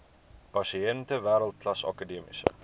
pasiënte wêreldklas akademiese